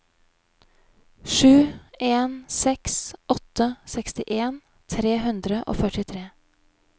sju en seks åtte sekstien tre hundre og førtitre